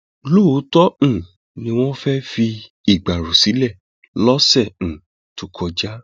lóòótọ um ni wọn fẹẹ fi ìgbárò sílẹ lọsẹ um tó kọjá